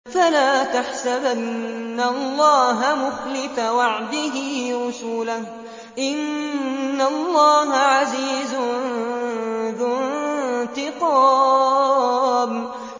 فَلَا تَحْسَبَنَّ اللَّهَ مُخْلِفَ وَعْدِهِ رُسُلَهُ ۗ إِنَّ اللَّهَ عَزِيزٌ ذُو انتِقَامٍ